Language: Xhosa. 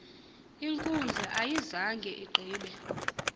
inkundla ayizanga igqibe